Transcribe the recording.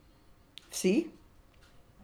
Vsi!